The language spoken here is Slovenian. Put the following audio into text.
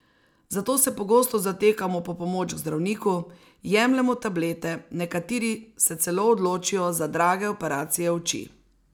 Zato se pogosto zatekamo po pomoč k zdravniku, jemljemo tablete, nekateri se celo odločijo za drage operacije oči.